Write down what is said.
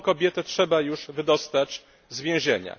Tę kobietę trzeba już wydostać z więzienia.